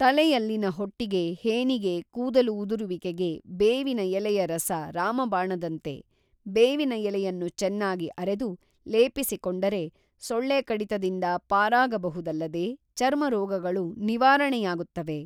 ತಲೆಯಲ್ಲಿನ ಹೊಟ್ಟಿಗೆ ಹೇನಿಗೆ ಕೂದಲು ಉದುರುವಿಕೆಗೆ ಬೇವಿನ ಎಲೆಯರಸ ರಾಮಬಾಣದಂತೆ ಬೇವಿನ ಎಲೆಯನ್ನು ಚೆನ್ನಾಗಿ ಅರೆದು ಲೆಪಿಸಿಕೊಂಡರೆ ಸೊಳ್ಳೆ ಕಡಿತದಿಂದ ಪಾರಾಗಬಹುದಲ್ಲದೆ ಚರ್ಮ ರೋಗಗಳು ನಿವಾರಣೆಯಾಗುತ್ತವೆ.